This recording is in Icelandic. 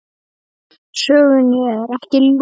Sögunni er ekki lokið.